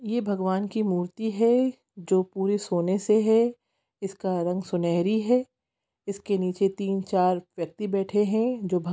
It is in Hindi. ये भगवान की मूर्ति है जो पुरे सोने से है इसका रंग सुनहरी है इसके नीचे तीन चार व्यक्ति बैठे हैं जो भग --